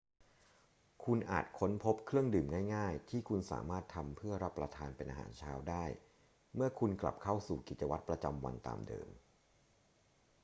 คุณอาจค้นพบเครื่องดื่มง่าย ๆ ที่คุณสามารถทำเพื่อรับประทานเป็นอาหารเช้าได้เมื่อคุณกลับเข้าสู่กิจวัตรประจำวันตามเดิม